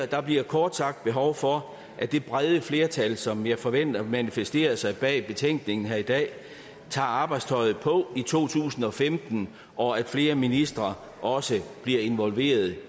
der bliver kort sagt behov for at det brede flertal som jeg forventer manifesterer sig bag betænkningen her i dag tager arbejdstøjet på i to tusind og femten og at flere ministre også bliver involveret